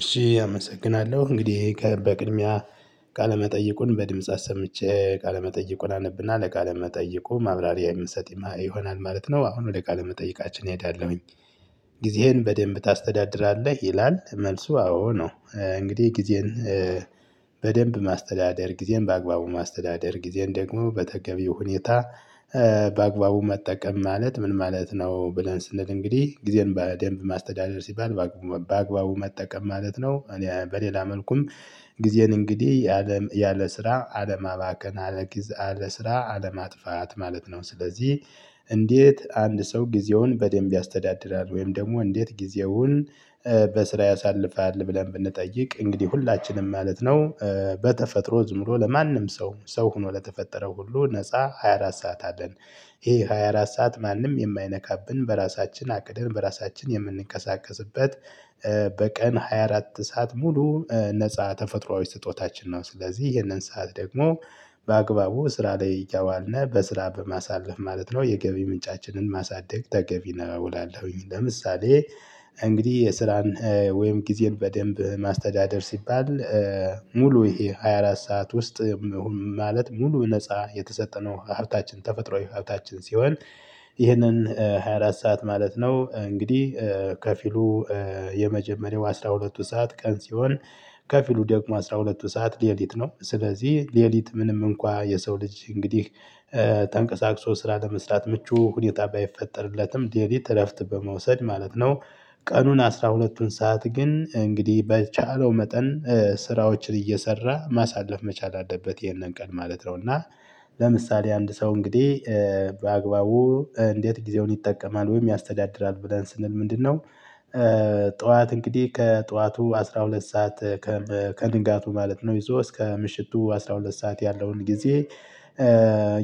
እሺ አመሰግናለሁ እንግዲህ በቅድሚያ ቃለመጠይቁን በድምጽ አሰምቼ ቃለመጠይቁን አነብና ለቃለ መጠየቁ ማብራሪያ የምሰጥ ይሆናል ማለት ነው። አሁን ወደ ቃለ መጠየቃችን እሄዳለሁኝ። ጊዜህን በደንብ ታስተዳድራለህ ይላል መልሱ አዎ ነው። እንግዲህ ጊዜን በደንብ ማስተዳደር ጊዜን በአግባቡ ማስተዳደር ጊዜን ደግሞ በተገቢው ሁኔታ በአግባቡ መጠቀም ማለት ምን ማለት ነው? ብለን ስንል እንግዲህ ጊዜን በደንብ ማስተዳደር ሲባል በአግባቡ መጠቀም ማለት ነው። እኔ በሌላ መልኩም ጊዜን እንግዲህ ያለ ያለ ስራ አለማባከን አለጊዝ አለስራ አለማጥፋት ማለት ነው። ስለዚህ እንዴት አንድ ሰው ጊዜውን በደንብ ያስተዳድራል? ወይም ደግሞ እንዴት ጊዜውን በስራ ያሳልፋል? ብለን ብንጠይቅ እንግዲህ ሁላችንም ማለት ነው። በተፈጥሮ ዝም ብሎ ለማንም ሰው ሰው ሆኖ ለተፈጠረው ሁሉ ነፃ ሃያ አራት ሰዓት አለን። ይሄ ሃያ አራት ሰዓት ማንም የማይነካብን በራሳችን አቅደን በራሳችን የምንንቀሳቀስበት በቀን ሃያ አራት ሰዓት ሙሉ ነፃ ተፈጥሮአዊ ስጦታችን ነው። ስለዚህ ይህንን ሰዓት ደግሞ በአግባቡ ስራ ላይ እያዋልና በስራ በማሳለፍ ማለት ነው የገቢ ምንጫችንን ማሳደግ ተገቢ ነው እላለሁኝ። ለምሳሌ እንግዲህ የስራን ወይም ጊዜን በደንብ ማስተዳደር ሲባል ሙሉ ይሄ ሃያ አራት ሰዓት ውስጥ ማለት ሙሉ ነፃ የተሰጠነው ሀብታችን ተፈጥሮአዊ ሀብታችን ሲሆን ይህንን ሃያ አራት ሰዓት ማለት ነው። እንግዲህ ከፊሉ የመጀመሪያው አስራ ሁለቱ ሰዓት ቀን ሲሆን ከፊሉ ደግሞ አስራ ሁለቱ ሰዓት ሌሊት ነው። ስለዚህ ሌሊት ምንም እንኳን የሰው ልጅ እንግዲህ ተንቀሳቅሶ ስራ ለመስራት ምቹ ሁኔታ ባይፈጠርለትም ሌሊት እረፍት በመውሰድ ማለት ነው። ቀኑን አስራ ሁለቱን ሰዓት ግን እንግዲህ በቻለው መጠን ስራዎችን እየሰራ ማሳለፍ መቻል አለበት ይሄንን ቀን ማለት ነው። እና ለምሳሌ አንድ ሰው እንግዲህ በአግባቡ እንዴት ጊዜውን ይጠቀማል ወይም ያስተዳድራል ብለን ስንል ምንድነው? ጠዋት እንግዲህ ከጠዋቱ አስራ ሁለት ሰዓት ከንጋቱ ማለት ነው ይዞ እስከ ምሽቱ አስራ ሁለት ሰዓት ያለውን ጊዜ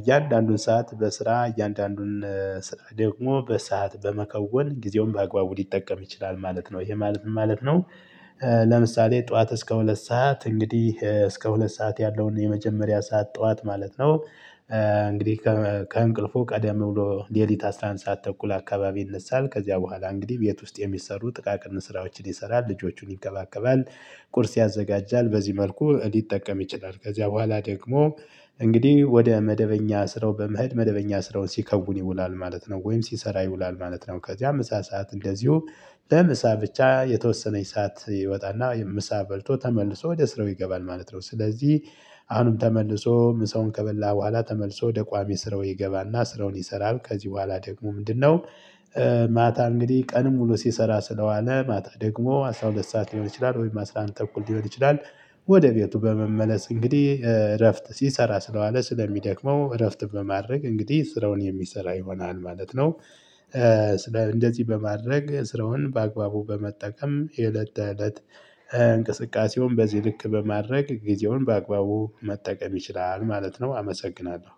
እያንዳንዱን ሰዓት በስራ እያንዳንዱን ስራ ደግሞ በሰአት በመከወን ጊዜውን በአግባቡ ሊጠቀም ይችላል ማለት ነው። ይሄ ማለት ምን ማለት ነው? ለምሳሌ ጠዋት እስከ ሁለት ሰዓት እንግዲህ እስከ ሁለት ሰዓት ያለውን የመጀመሪያ ሰዓት ጠዋት ማለት ነው። እንግዲህ ከእንቅልፉ ቀደም ብሎ ሌሊት አስራ አንድ ሰዓት ተኩል አካባቢ ይነሳል ከዚያ በኋላ እንግዲህ ቤት ውስጥ የሚሰሩ ጥቃቅን ስራዎችን ይሰራል ልጆቹን ይንከባከባል። ቁርስ ያዘጋጃል በዚህ መልኩ ሊጠቀም ይችላል። ከዚያ በኋላ ደግሞ እንግዲህ ወደ መደበኛ ስራው በመሀድ መደበኛ ስራውን ሲከውን ይውላል ማለት ነው ወይም ሲሰራ ይውላል ማለት ነው። ከዚያ ምሳ ሰዓት እንደዚሁ ለምሳ ብቻ የተወሰነች ሰዓት ይወጣና ምሳ በልቶ ተመልሶ ወደ ስራው ይገባል ማለት ነው። ስለዚህ አሁንም ተመልሶ ምሳውን ከበላ በኋላ ተመልሶ ወደ ቋሚ ስራው ይገባና ስራውን ይሰራል ከዚህ በኋላ ደግሞ ምንድነው? ማታ እንግዲህ ቀንን ሙሉ ሲሰራ ስለዋለ ማታ ደግሞ አስራ ሁለት ሰዓት ሊሆን ይችላል ወይም አስራ አንድ ተኩል ሊሆን ይችላል። ወደ ቤቱ በመመለስ እንግዲህ እረፍት ሲሰራ ስለዋለ ስለሚደክመው እረፍት በማድረግ እንግዲህ ስራውን የሚሰራ ይሆናል ማለት ነው። እንደዚህ በማድረግ ስራውን በአግባቡ በመጠቀም የእለት እለት እንቅስቃሴውን በዚህ ልክ በማድረግ ጊዜውን በአግባቡ መጠቀም ይችላል ማለት ነው። አመሰግናለሁ።